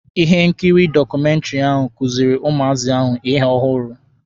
Ihe nkiri dọkụmentiri ahụ kuziiri ụmụazị ahụ ihe ọhụrụ.